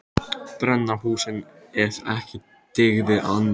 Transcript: Brenna húsin ef ekki dygði annað.